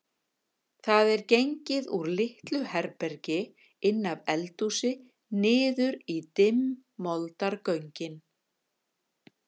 Það er gengið úr litlu herbergi inn af eldhúsi niður í dimm moldargöngin.